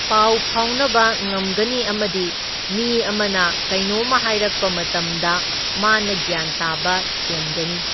ꯄꯥꯎ ꯐꯥꯎꯅꯕ ꯉꯝꯒꯅꯤ ꯑꯃꯗꯤ ꯃꯤ ꯑꯃꯅ ꯀꯩꯅꯣꯝꯃ ꯍꯥꯏꯔꯛꯄ ꯃꯇꯝꯗ ꯃꯥꯅ ꯒ꯭ꯌꯥꯟ ꯇꯥꯕ ꯍꯦꯟꯒꯅꯤ꯫